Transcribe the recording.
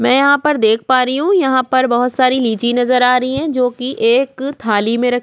मैं यहाँ पर देख पा रही हु यहाँ पर बहुत सारे लीची नज़र आ रही है जो की एक थाली में रखी--